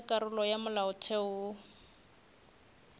tša karolo ya molaotheo wo